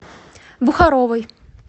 бухаровой